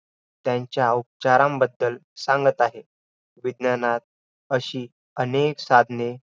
त्यांच्या उपचारांबद्दल सांगत आहे. विज्ञानात अशी अनेक साधने